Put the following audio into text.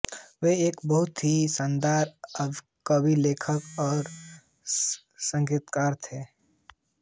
वो एक बहुत हि शानदार कवि लेखक और संगीतकार थे